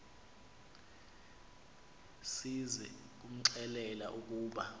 size kumxelela ukuba